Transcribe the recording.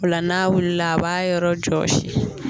O la n'a wulila a b'a yɔrɔ jɔsi.